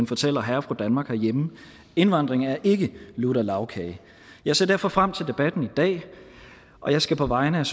fortæller herre og fru danmark herhjemme indvandringen er ikke lutter lagkage jeg ser derfor frem til debatten i dag og jeg skal på vegne